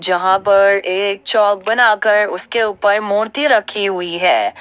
जहां पर एक चौक बनाकर उसके ऊपर मूर्ति रखी हुई है।